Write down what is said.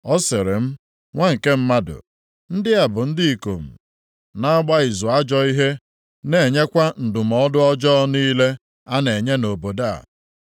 Ọ sịrị m, “Nwa nke mmadụ, ndị a bụ ndị ikom na-agba izu ajọ ihe, na-enyekwa ndụmọdụ ọjọọ niile a na-enye nʼobodo a.